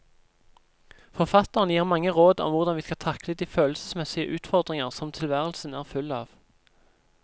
Forfatteren gir mange råd om hvordan vi skal takle de følelsesmessige utfordringer som tilværelsen er full av.